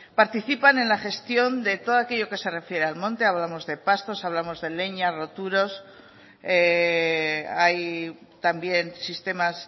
participan en la gestión de todo aquello que se refiera al monte hablamos de pastos hablamos de leña también sistemas